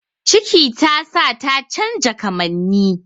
Ciki tasa ta canja kamanni